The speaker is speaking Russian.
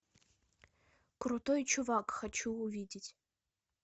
крутой чувак хочу увидеть